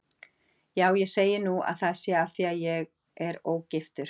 Já, ég segi nú að það sé af því að ég er ógiftur.